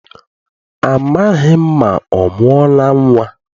Amaghị m ma ọ mụọla nnwa.